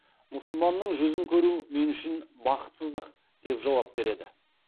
мұсылманның жүзін көру мен үшін бақсытсыздық деп жауап береді